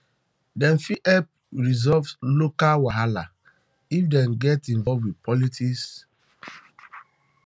dem fit help resolve local um wahala um if dem get involved with politics with politics um